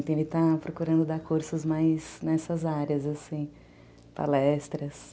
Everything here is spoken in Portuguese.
Ele está procurando dar cursos mais nessas áreas, assim, palestras.